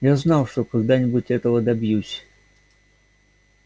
я знал что когда-нибудь этого добьюсь